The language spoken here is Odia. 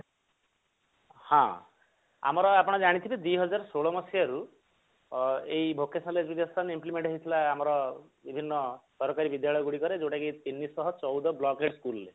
ହଁ ଆମର ଆପଣ ଜାଣିଥିବେ ଦିହଜାରେ ଷୋଳ ମସିହାରୁ ଅ ଏଇ vocational education implement ହେଇଥିଲା ଆମର ବିଭିନ୍ନ ସରକାରୀ ବିଦ୍ୟାଳୟ ଗୁଡିକରେ ଯୋଉଟା କି ତିନିଶହ ଚଉଦ block ରେ school ରେ